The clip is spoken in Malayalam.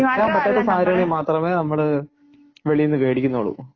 വെക്കാൻ പറ്റാത്ത സാഹചര്യത്തിൽ മാത്രമേ നമ്മൾ വെളിയിൽ നിന്ന് മേടിക്കുന്നുള്ളൂ.